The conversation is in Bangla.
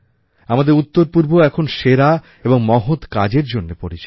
আমাদের উত্তরপূর্ব এখন সেরা এবং মহৎ কাজের জন্য পরিচিত